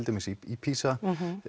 dæmis PISA